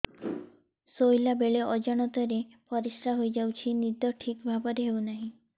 ଶୋଇଲା ବେଳେ ଅଜାଣତରେ ପରିସ୍ରା ହୋଇଯାଉଛି ନିଦ ଠିକ ଭାବରେ ହେଉ ନାହିଁ